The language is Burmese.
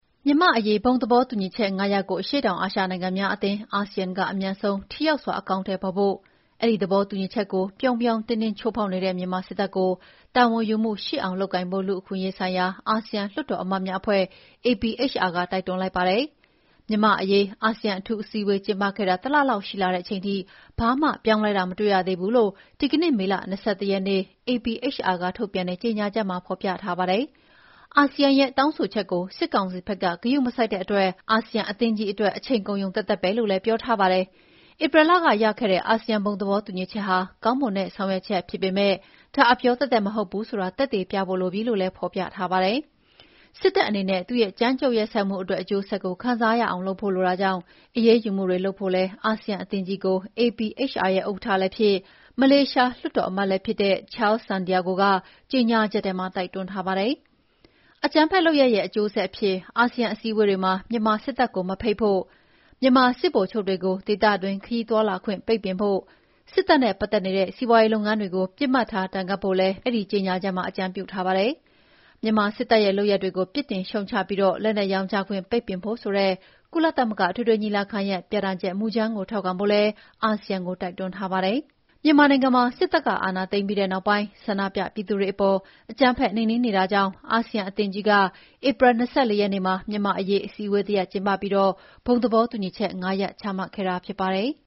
မြန်မာ့အရေး ဘုံသဘောတူညီချက် ၅ ရပ်ကို အရှေ့တောင်အာရှနိုင်ငံများအသင်း (ASEAN) က အမြန်ဆုံး ထိရောက်စွာ အကောင်အထည်ဖော်ဖို့၊ အဲဒီ သဘောတူညီချက်ကို ပြောင်ပြောင်တင်းတင်း ချိုးဖောက်နေတဲ့မြန်မာစစ်တပ်ကို တာဝန်ယူမှုရှိအောင် လုပ်ကိုင်ဖို့ လူ့အခွင့်အရေးဆိုင်ရာ အာဆီယံလွှတ်တော်အမတ်များ အဖွဲ့ APHR က တိုက်တွန်းလိုက်ပါတယ်။ မြန်မာ့အရေး အာဆီယံ အထူးအစည်းအဝေးကျင်းပခဲ့တာ တလလောက် ရှိလာတဲ့အချိန်ထိ ဘာမှပြောင်းလဲတာ မတွေ့ရသေးဘူးလို့ ဒီကနေ့ မေလ ၂၁ ရက်နေ့ APHR က ထုတ်ပြန်တဲ့ ကြညာချက်မှာ ဖော်ပြထားပါတယ်။ အာဆီယံရဲ့တောင်းဆိုချက်ကို စစ်ကောင်စီဘက်က ဂရုမစိုက်တဲ့အတွက် အာဆီယံ အသင်းကြီးအတွက် အချိန်ကုန်ရုံသက်သက်ပဲလို့လည်း ပြောထားပါတယ်။ ဧပြီလက ရခဲ့တဲ့ အာဆီယံ ဘုံသဘောတူညီချက်ဟာ ကောင်းမွန်တဲ့ ဆောင်ရွက်ချက်ဖြစ်ပေမဲ့၊ ဒါ အပြောသက်သက်မဟုတ်ဘူးဆိုတာ သက်သေပြဖို့လိုပြီလို့လည်း ဖော်ပြထားပါတယ်။ စစ်တပ်အနေဲ့သူ့ရဲ့ ကြမ်းကြုတ်ရက်စက်မှုအတွက် အကျိုးဆက်ကိုခံစားရအောင်လုပ်ဖို့လိုတာကြောင့် အရေးယူမှုတွေလုပ်ဖို့လည်း အာဆီယံအသင်းကြီးကို APHR ရဲ့ဥက္ကဋ္ဌလည်းဖြစ်၊ မလေးရှားလွှတ်တော်အမတ်လည်းဖြစ်တဲ့ Charles Santiago ကကြေညာချက်ထဲမှာ တိုက်တွန်း ထားပါတယ်။ အကြမ်းဖက်လုပ်ရပ်ရဲ့အကျိုးဆက်အဖြစ် အာဆီယံအစည်းအဝေးတွေမှာ မြန်မာစစ်တပ်ကို မဖိတ်ဖို့၊ မြန်မာ စစ်ဗိုလ်ချုပ်တွေကို ဒေသတွင်းခရီးသွားလာခွင့်ပိတ်ပင်ဖို့၊ စစ်တပ်နဲ့ ပတ်သက်နေတဲ့စီးပွားရေး လုပ်ငန်းတွေကို ပစ်မှတ်ထား ဒဏ်ခတ်ဖို့လည်း မစ္စတာ Santiago က အဲဒီကြေညာချက်မှာ အကြံပြုထားပါတယ်။ မြန်မာစစ်တပ်ရဲ့ လုပ်ရပ်တွေကို ပြစ်တင်ရှုတ်ချပြီး လက်နက်ရောင်းချခွင့် ပိတ်ပင်ဖို့ဆိုတဲ့ ကုလသမဂ္ဂအထွေထွေ ညီလာခံရဲ့ ပြဌာန်းချက်မူကြမ်းကို ထောက်ခံဖို့လည်း အာဆီယံကို တိုက်တွန်းထားပါတယ်။ မြန်မာနိုင်ငံမှာ စစ်တပ်ကအာဏာသိမ်းပြီးတဲ့နောက်ပိုင်း ဆန္ဒပြပြည်သူတွေအပေါ် အကြမ်းဖက်နှိမ်နှင်းနေတာကြောင့် အာဆီယံ အသင်းကြီးက ဧပြီ ၂၄ ရက်နေ့မှာ မြန်မာ့အရေး အစည်းအဝေး တရပ်ကျင်းပပြီး ဘုံသဘောတူညီချက် ၅ ရပ် ချမှတ်ခဲ့တာဖြစ်ပါတယ်။